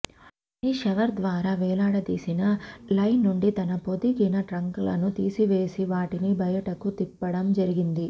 అవన్నీ షవర్ ద్వారా వేలాడదీసిన లైన్ నుండి తన పొదిగిన ట్రంక్లను తీసివేసి వాటిని బయటకు త్రిప్పడం జరిగింది